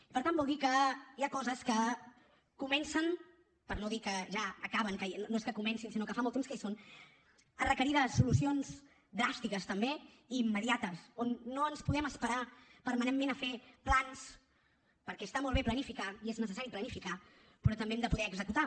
i per tant vol dir que hi ha coses que comencen per no dir que ja acaben no és que comencin sinó que fa molt temps que hi són a requerir solucions dràstiques també i immediates on no ens podem esperar permanentment a fer plans perquè està molt bé planificar i és necessari planificar però també hem de poder executar